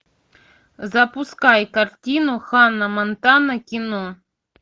запускай картину ханна монтана кино